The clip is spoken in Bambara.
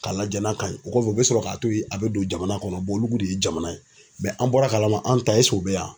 K'a lajɛ n'a ka ɲi o kɔfɛ u bɛ sɔrɔ k'a to ye a bɛ don jamana kɔnɔ olu de ye jamana ye an bɔra a kalama an ta u bɛ yan.